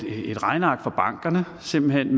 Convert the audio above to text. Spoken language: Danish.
regneark fra bankerne simpelthen